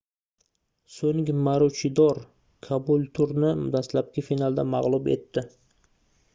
soʻng maruchidor kabulturni dastlabki finalda magʻlub etdi